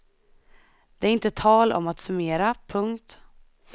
Det är inte tal om att summera. punkt